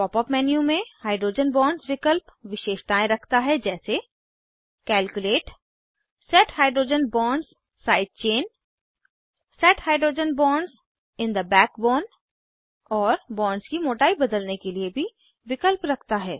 pop up menu में hydrogen bonds विकल्प विशेषताएँ रखता है जैसे calculate set hydrogen bonds side chain set hydrogen bonds in the backbone और बांड्स की मोटाई बदलने के लिए भी विकल्प रखता है